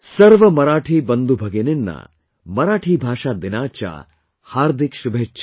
"सर्व मराठी बंधु भगिनिना मराठी भाषा दिनाच्या हार्दिक शुभेच्छा|"